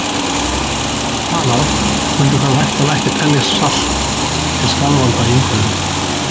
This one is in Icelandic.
Ef þær gætu talað mundu þær væntanlega ekki telja salt til skaðvalda í umhverfinu!